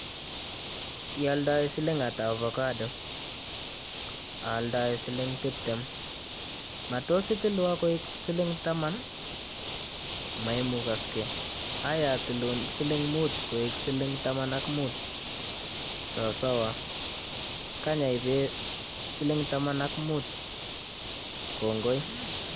Alindet; ialdae siling ata ovacado Aldaindet ; aaldai siling tuptem alindet; matos itilwan koek siling taman Aldaindet; maimukaksei, aiya atilin siling muut koek siling taman ak muut Alindet; sosoo kany aipe siling taman ak muut. Kongoi.